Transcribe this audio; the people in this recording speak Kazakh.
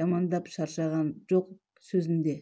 жамандап шаршаған жоқ сөзінде